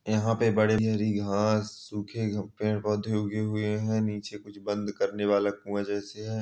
यहां पे बड़े घास सूखे पेड़-पौधे उगे हुए हैं नीचे कुछ बंद करने वाला कुआं जैसे है।